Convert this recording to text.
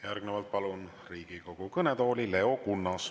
Järgnevalt palun Riigikogu kõnetooli Leo Kunnase.